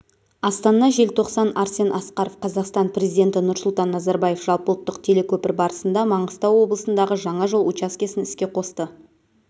астана желтоқсан арсен асқаров қазақстан президенті нұрсұлтан назарбаев жалпыұлттық телекөпір барысында маңғыстау облысындағы жаңа жол учаскесін іске қосты